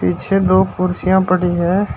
पीछे दो कुर्सियां पड़ी हैं।